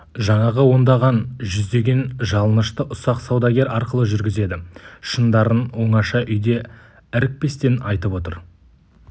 жаңағы ондаған жүздеген жалынышты ұсақ саудагер арқылы жүргізеді шындарын оңаша үйде ірікпестен айтып отыр